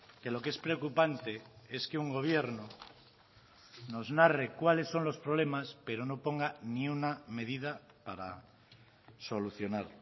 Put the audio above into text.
que lo que es preocupante es que un gobierno nos narre cuáles son los problemas pero no ponga ni una medida para solucionar